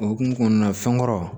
O hokumu kɔnɔna na fɛn kɔrɔ